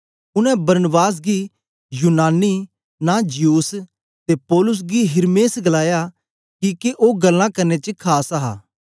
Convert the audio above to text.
उनै बरनबास गी यूनानी नां ज्यूस ते पौलुस गी हिरमेस गलाया किके ओ गल्लां करने च खास हा